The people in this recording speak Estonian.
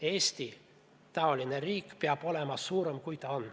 Eesti-taoline riik peab olema suurem, kui ta on.